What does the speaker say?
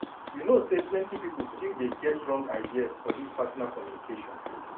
you know say plenty people still dey get wrong ideas for this partner communication.